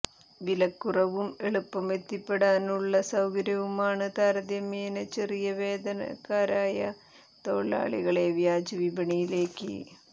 വിലക്കുറവും എളുപ്പം എത്തിപ്പെടാനുള്ള സൌകര്യവുമാണ് താരതമ്യേന ചെറിയ വേതനക്കാരായ തൊഴിലാളികളെ വ്യാജ വിപണിലേക്ക്